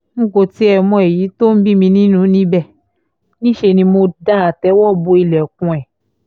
n kò tiẹ̀ mọ èyí tó ń bí mi nínú níbẹ̀ níṣẹ́ ni mo da àtẹ́wọ́ bo ilẹ̀kùn ẹ̀